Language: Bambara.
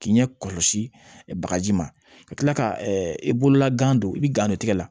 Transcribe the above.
K'i ɲɛ kɔlɔsi bagaji ma ka kila ka i bolola gan don i bi gan de tigɛ